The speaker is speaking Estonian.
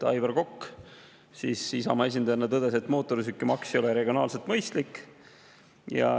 Aivar Kokk Isamaa esindajana tõdes, et mootorsõidukimaks ei ole regionaalselt mõistlik.